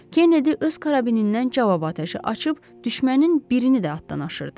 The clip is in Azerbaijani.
Kennedy öz karabinindən cavab atəşi açıb düşmənin birini də addan aşırdı.